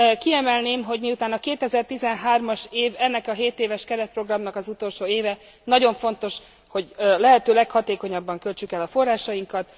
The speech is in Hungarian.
Kiemelném, hogy miután a 2013 as év ennek a 7 éves keretprogramnak az utolsó éve, nagyon fontos, hogy a lehető leghatékonyabban költsük el a forrásainkat.